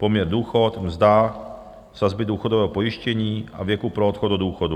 Poměr důchod, mzda, sazby důchodového pojištění a věku pro odchod do důchodu.